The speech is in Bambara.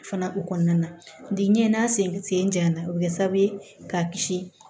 Fana o kɔnɔna na biɲɛ n'a sen janyana o bɛ kɛ sababu ye k'a kisi